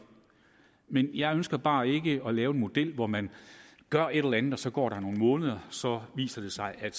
men jeg ønsker bare ikke at lave en model hvor man gør et eller andet og så går der nogle måneder og så viser det sig at